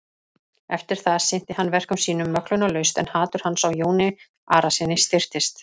Eftir það sinnti hann verkum sínum möglunarlaust en hatur hans á Jóni Arasyni styrktist.